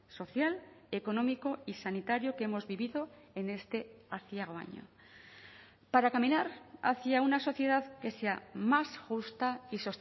social económico y sanitario que hemos vivido en este aciago año para caminar hacia una sociedad que sea más justa y